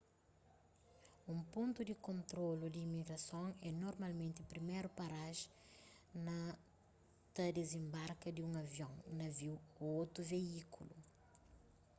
un pontu di kontrolu di imigrason é normalmenti priméru parajen na ta dizenbarka di un avion naviu ô otu veíkulu